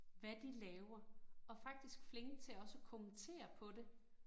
Hvad de laver, og faktisk flinke til også at kommentere på det